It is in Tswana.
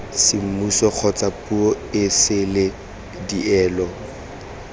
semmuso kgotsa puo esele dielo